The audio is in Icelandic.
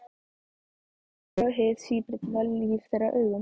Ég mun aldrei sjá hið síbreytilega líf þeirra augum.